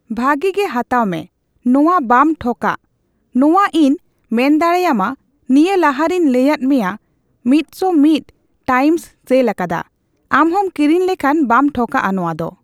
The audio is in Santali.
ᱵᱷᱟᱜᱤᱜᱮ ᱦᱟᱛᱟᱣ ᱢᱮ ᱱᱚᱣᱟ ᱵᱟᱢ ᱴᱷᱚᱠᱟᱜ ᱱᱚᱣᱟ ᱤᱧ ᱢᱮᱱᱫᱟᱲᱮᱭᱟᱢᱟ ᱱᱤᱭᱟᱹ ᱞᱟᱦᱟᱨᱮᱧ ᱞᱟᱹᱭᱟᱫ ᱢᱮᱭᱟ ᱢᱤᱫᱥᱚ ᱢᱤᱫ ᱴᱟᱝᱤᱧ ᱥᱮᱞ ᱟᱠᱟᱫᱟ ᱟᱢᱦᱚᱢ ᱠᱤᱨᱤᱧ ᱞᱮᱠᱷᱟᱱ ᱵᱟᱢ ᱴᱷᱚᱠᱟᱜ ᱟ ᱱᱚᱣᱟᱫᱚ